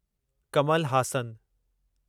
Kamal Haasan